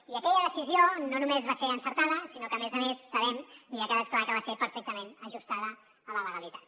i aquella decisió no només va ser encertada sinó que a més a més sabem i ha quedat clar que va ser perfectament ajustada a la legalitat